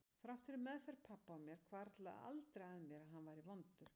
Þrátt fyrir meðferð pabba á mér hvarflaði aldrei að mér að hann væri vondur.